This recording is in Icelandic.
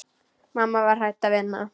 Mamma var hætt að vinna.